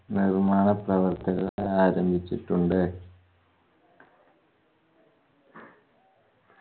നിമാനപ്രവർത്തക ആരംഭിച്ചിട്ടുണ്ട്